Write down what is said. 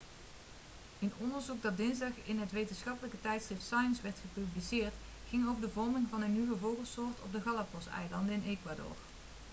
een onderzoek dat dinsdag in het wetenschappelijke tijdschrift science werd gepubliceerd ging over de vorming van een nieuwe vogelsoort op de galapagoseilanden in ecuador